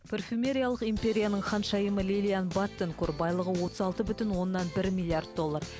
парфюмериялық империяның ханшайымы лилиан барттенкур байлығы отыз алты бүтін оннан бір миллиард доллар